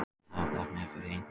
Að hafa gott nef fyrir einhverju